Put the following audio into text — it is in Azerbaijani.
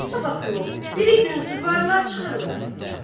Axı, sabah yox, birigün süvarilər çıxırlar.